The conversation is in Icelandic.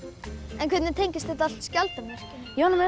en hvernig tengist þetta allt skjaldarmerkinu ég var að